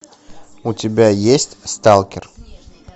у тебя есть сталкер